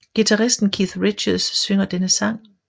Guitaristen Keith Richards synger denne sang